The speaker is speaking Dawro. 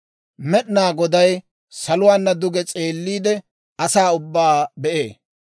Med'inaa Goday saluwaana duge s'eelliide, asaa ubbaa be'ee.